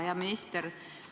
Hea minister!